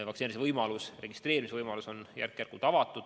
Vaktsineerimisele registreerimise võimalus on järk-järgult avatud.